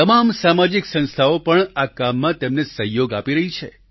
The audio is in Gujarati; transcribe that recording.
તમામ સામાજિક સંસ્થાઓ પણ આ કામમાં તેમને સહયોગ આપી રહી છે